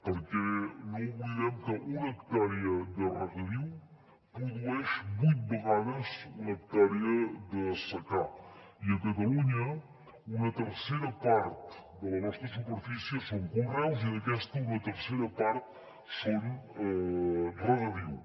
perquè no oblidem que una hectàrea de regadiu produeix vuit vegades una hectàrea de secà i a catalunya una tercera part de la nostra superfície són conreus i d’aquesta una tercera part són regadiu